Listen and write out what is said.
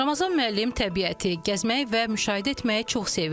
Ramazan müəllim təbiəti gəzmək və müşahidə etməyi çox sevir.